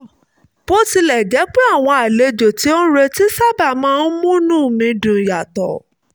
bó tilẹ̀ jẹ́ pé àwọn àlejò tí n ò retí sábà máa ń múnú mi dùn yàtọ̀